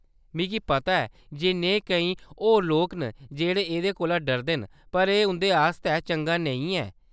मिगी पता ऐ जे नेहे केईं होर लोक न जेह्‌‌ड़े एह्‌‌‌दे कोला डरदे न , पर एह्‌‌ उं'दे आस्तै चंगा नेईं ऐ।